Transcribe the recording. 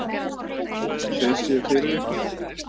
eins og þeir séu fyrir ykkur!